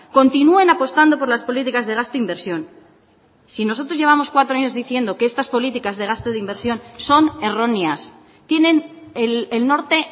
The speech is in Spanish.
continúen apostando por las políticas de gasto inversión si nosotros llevamos cuatro años diciendo que estas políticas de gasto de inversión son erróneas tienen el norte